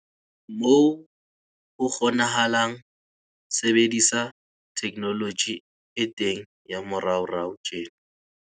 Moo ho kgonahalang, sebedisa theknoloji e teng ya moraorao tjena!